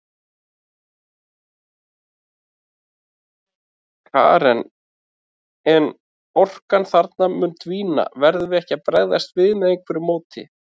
Karen: En orkan þarna mun dvína, verðum við ekki að bregðast við með einhverju móti?